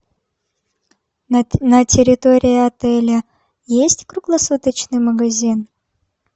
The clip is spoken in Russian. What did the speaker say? на территории отеля есть круглосуточный магазин